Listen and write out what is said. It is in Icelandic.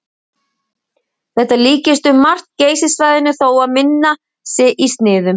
Þetta líkist um margt Geysissvæðinu þó að minna sé í sniðum.